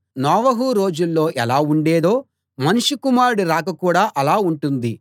నోవహు రోజుల్లో ఎలా ఉండేదో మనుష్య కుమారుడి రాకడ కూడా అలా ఉంటుంది